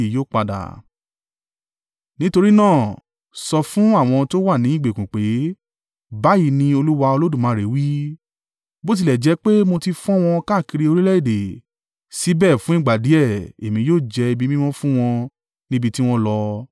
“Nítorí náà, sọ fún àwọn tó wà ní ìgbèkùn pé, ‘Báyìí ni Olúwa Olódùmarè wí, bó tilẹ̀ jẹ́ pé mo ti fọ́n wọn káàkiri orílẹ̀-èdè, síbẹ̀ fún ìgbà díẹ̀, èmi yóò jẹ́ ibi mímọ́ fún wọn níbi tí wọ́n lọ.’